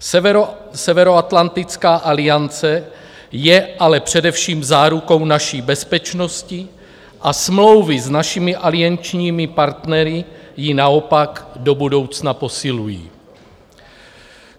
Severoatlantická aliance je ale především zárukou naší bezpečnosti a smlouvy s našimi aliančními partnery ji naopak do budoucna posilují.